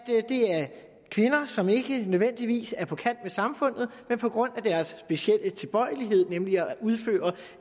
kvinder som ikke nødvendigvis er på kant med samfundet men på grund af deres specielle tilbøjelighed nemlig at udføre